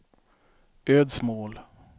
Ödsmål